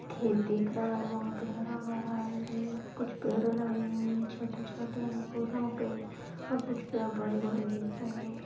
खेत दिख रहा हैवहां पर हरा-भरा है कुछ पेड़ लगे हुए हैं छोटे-छोटे फूलों के और कुछ पेड बड़े-बड़े दिख रहे हैं।